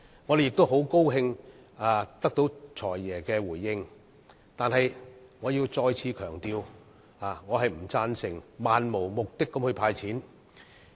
我們很高興得到"財爺"的回應，但我要再次強調，我並不贊成漫無目的地"派錢"。